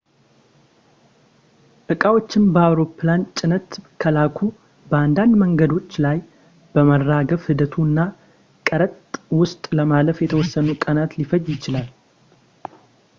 ዕቃዎችን በአውሮፕላን ጭነት ከላኩ በአንዳንድ መንገዶች ላይ በማራገፍ ሂደቱ እና ቀረጥ ውስጥ ለማለፍ የተወሰኑ ቀናት ሊፈጅ ይችላል